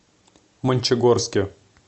мончегорске